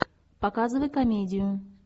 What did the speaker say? показывай комедию